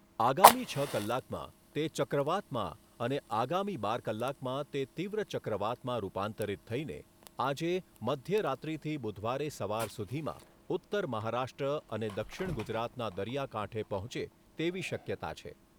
આગામી છ કલાકમાં તે ચક્રવાતમાં અને આગામી બાર કલાકમાં તે તીવ્ર ચક્રવાતમાં રૂપાંતરિત થઈને આજે મધ્ય રાત્રીથી બુધવારે સવાર સુધીમાં ઉત્તર મહારાષ્ટ્ર અને દક્ષિણ ગુજરાતના દરિયા કાંઠે પહોંચે તેવી શક્યતા છે.